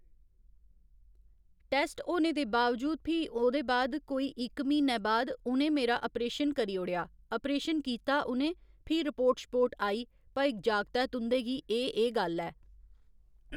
test होने दे बावजूद फ्ही ओह्दे बाद कोई इक म्हीनै बाद उ'नें मेरा अपरेशन करी ओड़ेआ अपरेशन कीता उ'नें फ्ही रपोर्ट शपोर्ट आई भई जागतै तुं'दे गी एह् एह् गल्ल ऐ